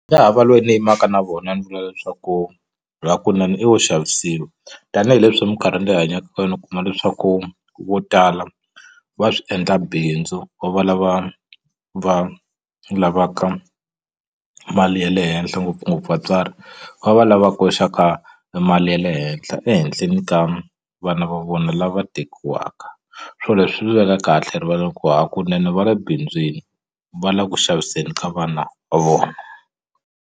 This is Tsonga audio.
ha va loyi ni yimaka na vona ni vula leswaku hakunene i wo xavisiwa tanihileswi minkarhi leyi hi hanyaka ka yona u kuma leswaku vo tala va swi endla bindzu va va lava va lavaka mali ya le henhla ngopfungopfu vatswari va va lava koxaka mali ya le henhla ehenhleni ka vana va vona lava tekiwaka swo leswi swi ni veka kahle rivaleni ku hakunene va le bindzwini va la ku xaviseni ka vana va vona.